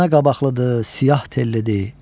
Ayna qabaqlıdır, siyah tellidir.